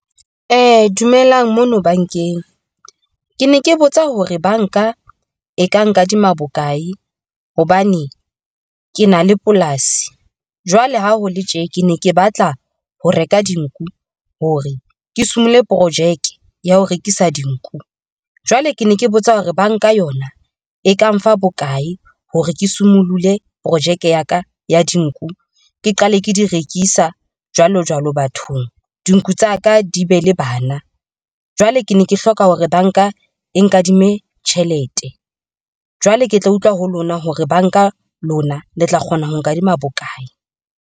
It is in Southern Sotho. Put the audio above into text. Dumelang mono bankeng, ke ne ke botsa hore banka e ka nkadima bokae hobane ke na le polasi. Jwale ha ho le tje ke ne ke batla ho reka dinku hore ke somile projeke ya ho rekisa dinku, jwale ke ne ke botsa hore banka yona e ka mfa bokae hore ke sumolule projeke ya ka ya dinku ke qale ke di rekisa jwalo jwalo bathong. Dinku tsa ka di be le bana. Jwale ke ne ke hloka hore banka e nkadime tjhelete, jwale ke tla utlwa ho lona hore banka lona le tla kgona ho nkadima bokae.